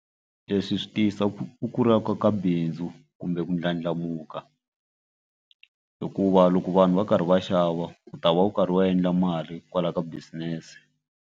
Leswi swi tiyisa u kulaka ka bindzu kumbe ku ndlandlamuka hikuva loko vanhu va karhi va xava u ta va karhi va endla mali kwalaya ka business.